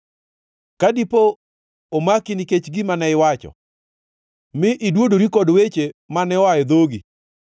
ka diponi omaki nikech gima ne iwacho, mi idwodori kod weche mane oa e dhogi,